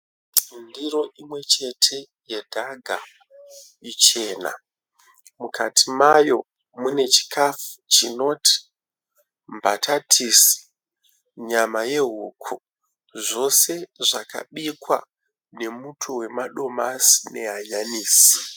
Ndiro imwechete yedhaga ichena. Mukati mayo mune chikafu chinoti mbatatisi ,nyama yehuku. Zvose zvakabikwa nemuto wemadomasi nehanyanisi.